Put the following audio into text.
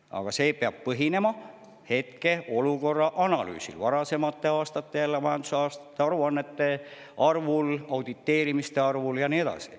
Aga see peab põhinema hetkeolukorra analüüsil, varasemate majandusaasta aruannete arvul, auditeerimiste arvul ja nii edasi.